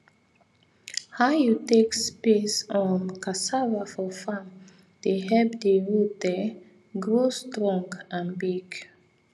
how you take space um cassava for farm dey help the root um grow strong and big